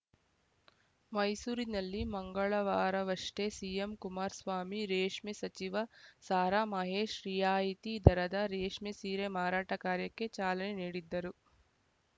ಮೈಸೂರಿನಲ್ಲಿ ಮಂಗಳವಾರವಷ್ಟೇ ಸಿಎಂ ಕುಮಾರಸ್ವಾಮಿ ರೇಷ್ಮೆ ಸಚಿವ ಸಾರಾಮಹೇಶ ರಿಯಾಯಿತಿ ದರದ ರೇಷ್ಮೆ ಸೀರೆ ಮಾರಾಟ ಕಾರ್ಯಕ್ಕೆ ಚಾಲನೆ ನೀಡಿದ್ದರು